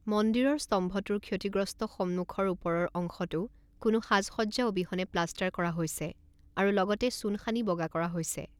মন্দিৰৰ স্তম্ভটোৰ ক্ষতিগ্ৰস্ত সন্মুখৰ ওপৰৰ অংশটো কোনো সাজসজ্জা অবিহনে প্লাষ্টাৰ কৰা হৈছে আৰু লগতে চূণ সানি বগা কৰা হৈছে।